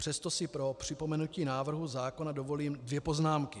Přesto si pro připomenutí návrhu zákona dovolím dvě poznámky.